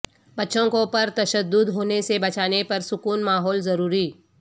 بچوں کو پرتشدد ہونے سے بچانے پر سکون ماحول ضروری